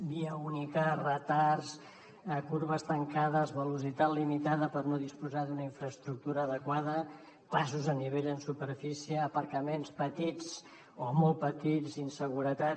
via única retards corbes tancades velocitat limitada per no disposar d’una infraestructura adequada passos a nivell en superfície aparcaments petits o molt petits inseguretat